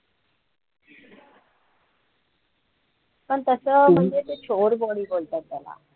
पण तसं म्हणजे ते चोर body बोलतात त्याला